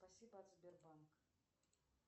спасибо от сбербанк